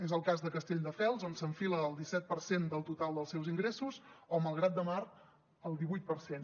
és el cas de castelldefels on s’enfila al disset per cent del total dels seus ingressos o malgrat de mar al divuit per cent